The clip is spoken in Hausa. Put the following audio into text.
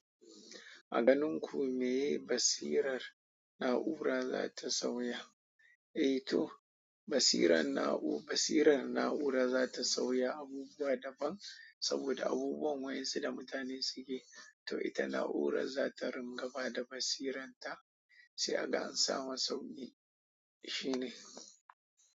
A ganin ku miye basirar na'ura za ta sauya? Eh to basirar na'u- basirar na'ura za ta sauya abubuwa daban saboda abubuwan wa'insu da mutane suke. To ita na'urar za ta ringa ba da basiranta sai aga an samu sauƙi. Shi ne.